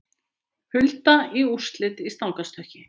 Hulda í úrslit í stangarstökki